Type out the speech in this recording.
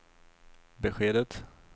beskedet